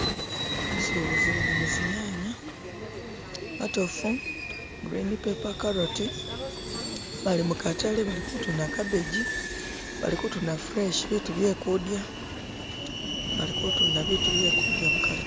Basubuzi bali mu zi'nyanye matofu, green pepper ,carroti bali mukatale bali kutundu gabbage, bali kutunda biitu bye kudya.